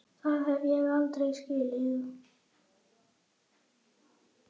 Það hef ég aldrei skilið.